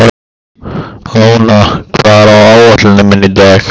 Móna, hvað er á áætluninni minni í dag?